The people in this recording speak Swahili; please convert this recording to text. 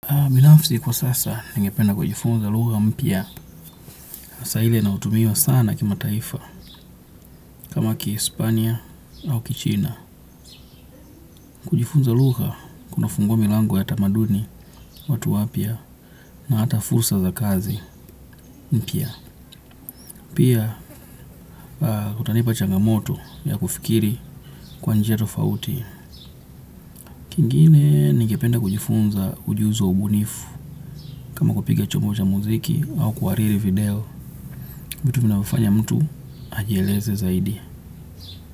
Binafsi kwa sasa ningependa kujifunza lugha mpya sasa ile inayotumiwa sana kimataifa kama kihispania au kichina. Kujifunza lugha kuna fungua milango ya tamaduni watu wapya na hata fursa za kazi mpya. Pia kutanipa changamoto ya kufikiri kwa njia tofauti. Kingine ningependa kujifunza ujuzi wa ubunifu. Kama kupiga chombo cha muziki au kuhariri video vitu vinavyofanya mtu ajieleze kwa zaidi.